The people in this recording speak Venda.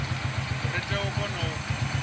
ri tea u kona u